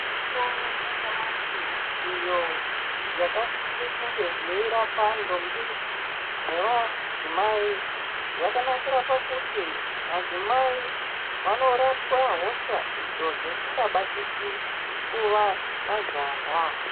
Mitombo yanyamashi iyo yakasise kunge yeirapa ntombi nevadzimai, yakanakira pakuti madzimai vanorapwa hosha idzo dzisikabatiki kuva majaya.